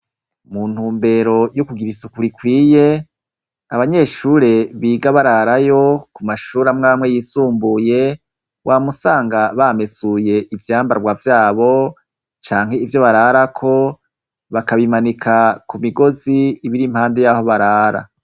Mu ntumbero yo kugira isuku rikwiye, abanyeshure biga bararayo, ku mashure amwamwe y'isumbuye, wama usanga bamesuye ivyambarwa vyabo, canke ivyo bararako, bakabimanika ku migozi iba iri impande y'aho barara.